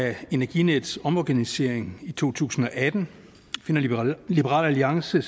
af energinets omorganisering i to tusind og atten finder liberal alliance